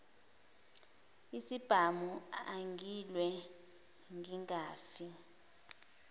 isibhamu angilwe ngingafi